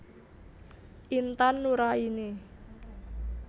Intan Nuraini